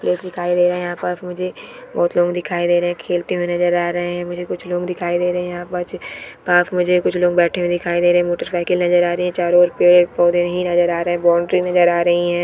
लोग दिखाई दे रहे है यहाँ पर मुझे बहुत लोग दिखाई दे रहे है खेलते हुए नज़र आ रहे है मुझे कुछ लोग दिखाई दे रहे है यहाँ पास पास मुझे कुछ लोग बैठे हुए दिखाई दे रहे है मोटर साइकिल नज़र आ रही है चारो और पेड़ पौधे ही नज़र आ रहे है बाउंड्री नज़र आ रही है।